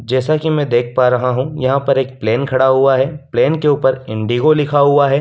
जैसा कि मैं देख पा रहा हूँ यहाँ पर एक प्लेन खड़ा हुआ है प्लेन के ऊपर इंडिगो लिखा हुआ है।